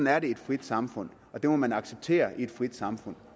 er det i et frit samfund og det må man acceptere i et frit samfund